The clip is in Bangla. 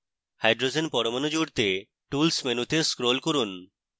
hydrogen পরমাণু জুড়তে tools মেনুতে scroll করুন